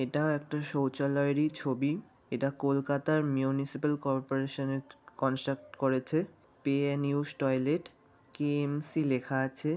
এটা একটা শৌচালয়েই ছবি এটা কলকাতার মিউনিসিপ্যাল করর্পোরেশন ক- কনস্ট্রাক্ট করেছে pay and use toilet KMC. লেখা আছে।